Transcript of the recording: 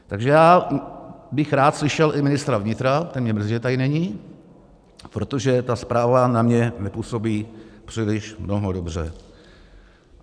Takže já bych rád slyšel i ministra vnitra, ten mě mrzí, že tady není, protože ta zpráva na mě nepůsobí příliš mnoho dobře.